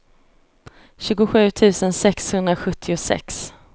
tjugosju tusen sexhundrasjuttiosex